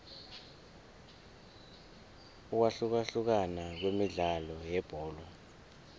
ukwahlukahlukana kwemidlalo yebholo